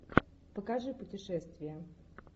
покажи путешествия